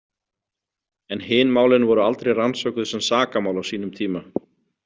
En hin málin voru aldrei rannsökuð sem sakamál á sínum tíma.